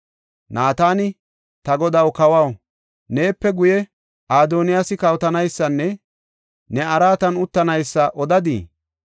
Naatani, “Ta godaw kawaw, neepe guye Adoniyaasi kawotanaysanne ne araatan uttanaysa odadii?